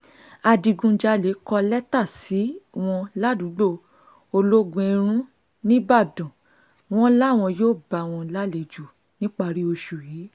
adigunjalè kọ lẹ́tà sí wọn ládùúgbò ológunèrun nìbàdàn wọn làwọn yóò bá wọn lálejò níparí oṣù yìí